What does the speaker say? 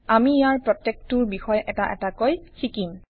আমি ইয়াৰ প্ৰত্যেকটোৰ বিষয়ে এটা এটাকৈ শিকিম